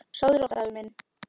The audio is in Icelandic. Sofðu rótt, afi minn.